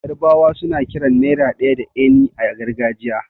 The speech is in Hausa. Yarbawa suna kiran naira ɗaya da 'eni' a gargajiya.